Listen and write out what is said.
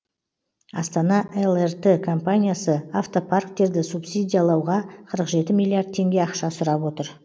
астана лрт компаниясы автопарктерді субсидиялауға қырық жеті милиард тенге ақша сұрап отыр